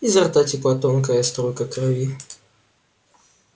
изо рта текла тонкая струйка крови